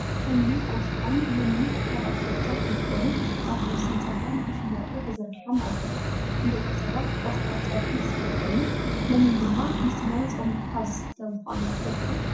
ሓምሊ ቆስጣን ለሚን ካብ ኣትክልትታት እንትኮኑ ኣብ ወሰን ፅርግያ ንክሽየጡ ተዘርጊሖም ኣለው። ንደቂ ሰባት ቆስጣ ፀብሒ ዝስራሕ ኮይኑ፣ ለሚን ድማ ምስ ማይ ፆሚካ ዝስተ ምኳኑ ትፈልጡ ዶ?